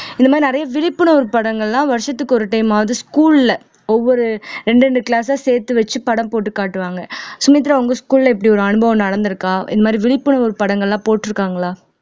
இந்த மாதிரி நிறைய விழிப்புணர்வு படங்கள்லாம் வருஷத்துக்கு ஒரு time ஆவது school ல ஒவ்வொரு இரண்டு இரண்டு class ஆ சேர்த்து வச்சு படம் போட்டு காட்டுவாங்க சுமித்ரா உங்க school ல இப்படி ஒரு அனுபவம் நடந்திருக்கா இந்த மாதிரி விழிப்புணர்வு படங்கள் எல்லாம் போட்டு இருக்காங்களா